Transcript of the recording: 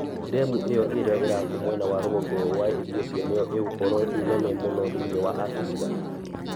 Ndemu ĩyo ĩrĩa irakwo mwena wa rũgongo wa Ethiopia, nĩyoo ĩgũkorũo ĩnene mũno thĩinĩ wa Abirika.